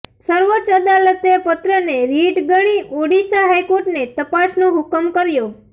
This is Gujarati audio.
સર્વાચ્ચ અદાલતે પત્રને રિટ ગણી ઓડિશા હાઈકોર્ટને તપાસનો હુકમ કર્યા